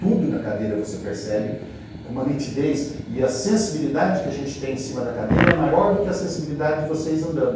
Tudo na cadeira você percebe com uma nitidez e a sensibilidade que a gente tem em cima da cadeira é maior do que a sensibilidade de vocês andando.